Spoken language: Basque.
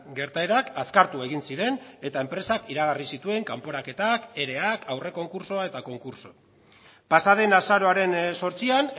gertaerak azkartu egin ziren eta enpresak iragarri zituen kanporaketak ereak aurrekonkurtsoa eta konkurtso pasa den azaroaren zortzian